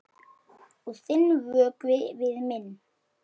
Og þinn vökvi við minn.